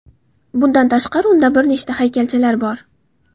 Bundan tashqari, unda bir nechta haykalchalar bor.